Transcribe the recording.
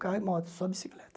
Carro e moto, só bicicleta.